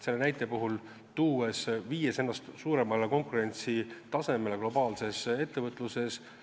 Selle näite puhul võib öelda, et me viime ennast paremale konkurentsitasemele globaalses ettevõtluses.